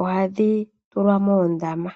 oha dhi tulwa moondama.